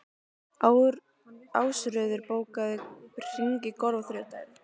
Ásröður, bókaðu hring í golf á þriðjudaginn.